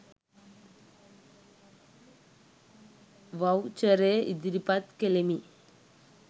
වව්චරය ඉදිරිපත් කලෙමි